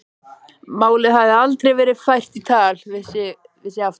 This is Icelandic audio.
Málið hafi aldrei verið fært í tal við sig aftur.